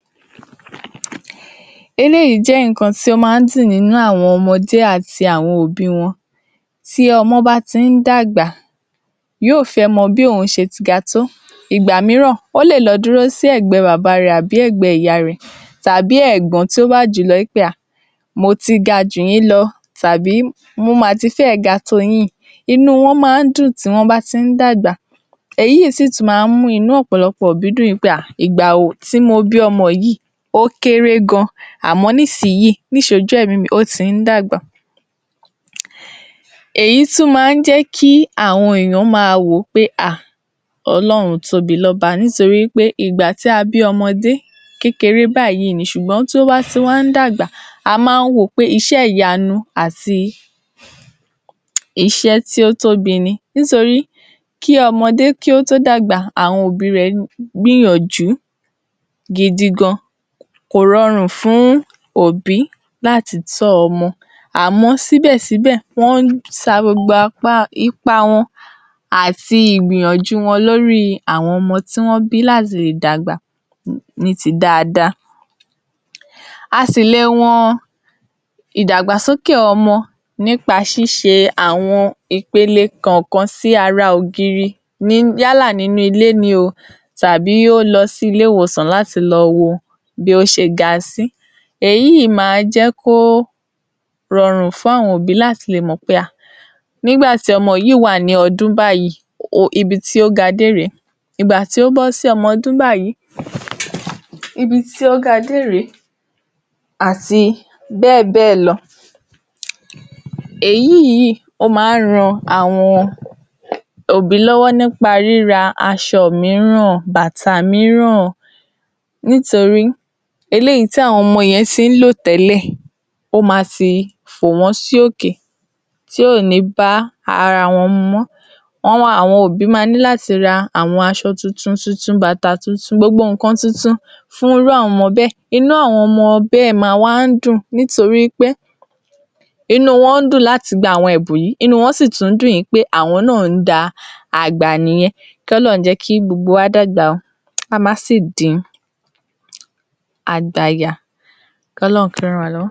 Eléyìí jẹ́ nǹkan tí ó máa ń dùn nínú àwọn ọmọdé àti àwọn òbí i wọn. Tí ọmọ bá ti ń dàgbà, yóò fẹ́ mọ bí òun ṣe ti ga tó, nígbà mìíràn ó lè dúró sí ẹ̀gbẹ́ bàbá a rẹ̀, àbí ẹ̀gbẹ́ ìyá a rẹ̀, tàbí ẹ̀gbọ́n tí ó bá jù ú lọ wí pé a mo ti ga jù yín lọ, tàbí mo ma ti fẹ́ ẹ̀ ga tó o yín, inú u wọn máa ń dùn tí wọ́n bá tí ń dàgbà, èyí sì tún máa ń mú inú ọ̀pọ̀lọpọ̀ òbí dùn pé ìgbà tí mo bí ọmọ yìí ó kéré gan àmọ́ nísìyìí, níṣojú ẹ̀mí mi ó ti ń dàgbà. Èyí tún máa ń jẹ́ kí àwọn ènìyàn máa wò ó pé à Ọlọ́run tóbilọ́ba, nítorí wí pé ìgbà tí a bí ọmọdé, kékeré báyìí ni, ṣùgbọ́n tó bá tún wá ń dàgbà, a máa ń wò ó pé iṣẹ́ ìyanu àti iṣẹ́ tí ó tóbi ni, nítorí kí ọmọdé kí ó tó dàgbà, àwọn òbí i rẹ̀ gbìyànjú gidigan, kò rọrùn fún obí láti tọ́ ọmọ àmọ́ síbẹ̀ síbẹ̀ wọ́n ń sa gbogbo ipa wọn àti ìgbìyànjú wọn lórí àwọn ọmọ tí wọ́n bí láti lè dàgbà ní ti dáadáa. A sì le wọn ìdàgbàsókè ọmọ nípa ṣíṣe àwọn ipele kọ̀ọ̀kan sí ara ògiri yálà nínú ilé ni tàbí ó lọ sí ilé-ìwòsàn láti lọ wo bí ó ṣe ga sí. Èyí máa jẹ́ kí ó rọrùn fún àwọn òbí láti lè mọ̀ pé à nígbà tí ọmọ yìí wà ní ọdún báyìí ibi tí ó ga dé lèyí, ìgbà tí ó bọ́ sí ọmọ ọdún báyìí, ibi tí ó ga dé rè é àti bẹ́ẹ̀ bẹ́ẹ̀ lọ. Èyí yìí ó máa ń ran àwọn òbí lọ́wọ́ nípa ríra aṣọ mìíràn, bàtà mìíràn, nítorí eléyìí tí àwọn ọmọ yẹn ti ń lò tẹ́lẹ̀, ó ma ti fò wọ́n sí òkè tí ò ní bá ara wọn mu mọ́, àwọn òbí máa ní láti ra àwọn aṣọ tuntun, bàtà tuntun, gbogbo nǹkan tuntun fún irú àwọn ọmọ bẹ́ẹ̀, inụ àwọn ọmọ bẹ́ẹ̀ máa wá ń dùn nítorí pé inú u wọ́n dùn láti gba àwọn ẹ̀bùn yìí inú u wọn sì tún dùn wí pé àwọn náà da àgbà nìyẹn kí Ọlọ́run jẹ́ kí gbogbo wa náà dàgbà kí a má sì di àgbàyà. Kí Ọlọ́run kí ó ràn wá lọ́wọ́.